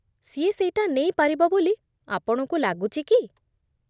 ସିଏ ସେଇଟା ନେଇପାରିବ ବୋଲି ଆପଣଙ୍କୁ ଲାଗୁଚି କି?